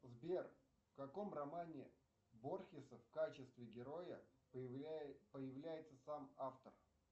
сбер в каком романе борхеса в качестве героя появляется сам автор